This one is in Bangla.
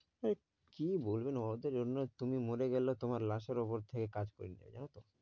এই কী বলবেন ওদের জন্য তুমি মরে গেলে তোমার লাশের ওপর থেকে কাজ করে যাবে জানো তো?